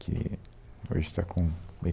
Que hoje está com